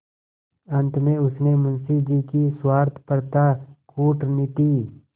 अंत में उसने मुंशी जी की स्वार्थपरता कूटनीति